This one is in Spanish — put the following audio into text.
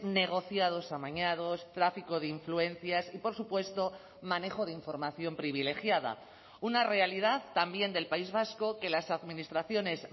negociados amañados tráfico de influencias y por supuesto manejo de información privilegiada una realidad también del país vasco que las administraciones